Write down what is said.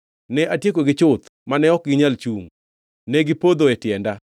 Ne atiekogi chuth, mane ok ginyal chungʼ; negipodho e tienda.